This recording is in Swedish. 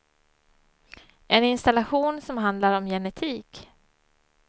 En installation som handlar om genetik.